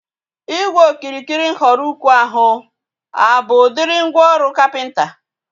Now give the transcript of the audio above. Ígwè okirikiri nhọrọ ukwu ahu a bụ udiri mgwooru kapịnta?